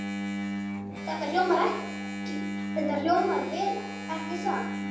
Þetta hljómar vel, ekki satt?